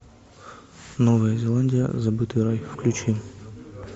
новая зеландия забытый рай включи